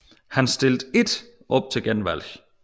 Han stilte ikke op til genvalg